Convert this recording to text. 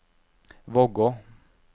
Vågå